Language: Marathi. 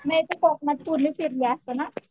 म्हणजे तू कोकणात पूर्ण फिरली असलं ना